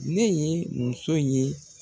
Ne ye muso ye